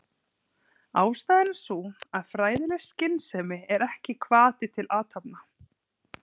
Ástæðan er sú að fræðileg skynsemi er ekki hvati til athafna.